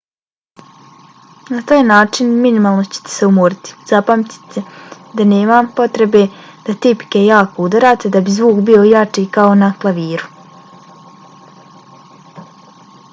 na taj način minimalno ćete se umoriti. zapamtite da nema potrebe da tipke jako udarate da bi zvuk bio jači kao na klaviru